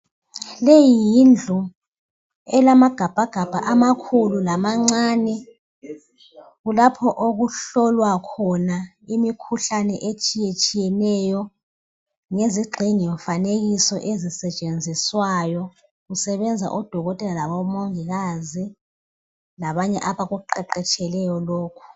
Leyi yindlu elamagabhagabha amakhulu lamancane, kulapho okuhlolwa khona imikhuhlane etshiyatshiyeneyo, ngezigxingimfanekiso ezisetshenziswayo, kusebenza odokotela labomongikazi, labanye abakuqeqetsheleyo lokhu.